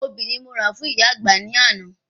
Obì ni mo rà fún ìyá àgbà ní àná